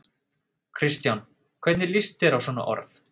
Kristján: Hvernig lýst þér á svona orð?